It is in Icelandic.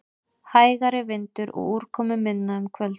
Hægari vindur og úrkomuminna um kvöldið